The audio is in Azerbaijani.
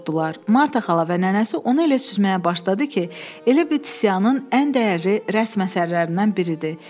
Marta xala və nənəsi onu elə süzməyə başladı ki, elə bil Tisianın ən dəyərli rəsm əsərlərindən biridir.